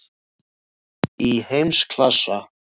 Í heimsklassa?